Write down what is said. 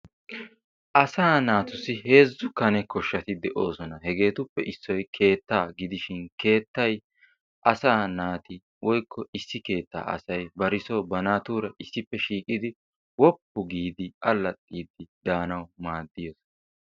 Asaa naatussi heezzu Kane koahshati de'oosona. Hegeetuppe issoy keettaa gidishin keettay asaa naati/issi keettaa asay ba soo bari naatuura issippe shiiqidi woppu giidi allaxxiiddi daanawu maaddiyaba.